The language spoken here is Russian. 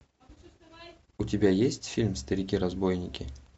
у тебя есть фильм старики разбойники